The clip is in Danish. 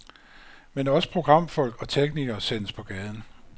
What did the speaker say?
Men også programfolk og teknikere sendes på gaden.